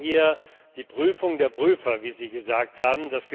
Wir brauchen hier die Prüfung der Prüfer, wie Sie gesagt haben.